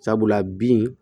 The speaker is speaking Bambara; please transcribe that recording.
Sabula bin